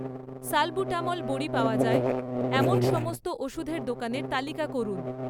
salbutamol বড়ি পাওয়া যায় এমন সমস্ত ওষুধের দোকানের তালিকা করুন